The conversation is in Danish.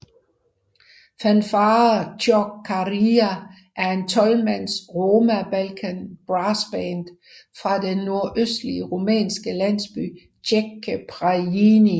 Fanfare Ciocărlia er et tolvmands roma Balkan brassband fra den nordøstlige rumænske landsby Zece Prăjini